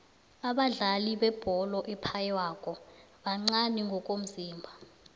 abadlali bebholo ephaywako bancani ngomzimba